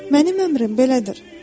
Mənim əmrim belədir."